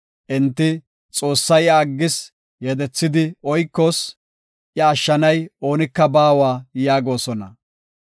Enti, “Xoossay iya aggis; yedethidi oykoos; iya ashshanay oonika baawa” yaagosona.